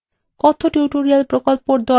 কথ্য tutorial প্রকল্পর the